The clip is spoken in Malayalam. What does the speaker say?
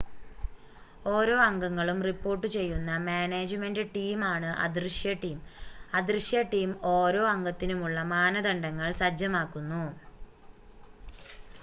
ഓരോ അംഗങ്ങളും റിപ്പോർട്ട് ചെയ്യുന്ന മാനേജ്‌മെൻ്റ് ടീമാണ് അദൃശ്യ ടീം അദൃശ്യ ടീം ഓരോ അംഗത്തിനുമുള്ള മാനദണ്ഡങ്ങൾ സജ്ജമാക്കുന്നു